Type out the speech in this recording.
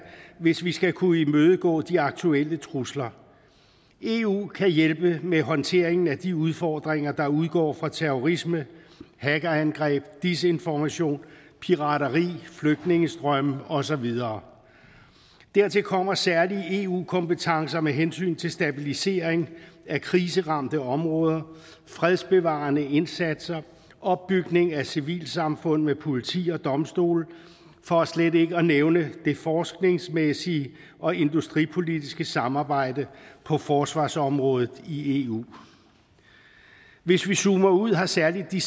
hvis vi skal kunne imødegå de aktuelle trusler eu kan hjælpe med håndteringen af de udfordringer der udgår fra terrorisme hackerangreb desinformation pirateri flygtningestrømme og så videre dertil kommer særlige eu kompetencer med hensyn til stabilisering af kriseramte områder fredsbevarende indsatser opbygning af civilsamfund med politi og domstole for slet ikke at nævne det forskningsmæssige og industripolitiske samarbejde på forsvarsområdet i eu hvis vi zoomer ud har særlig de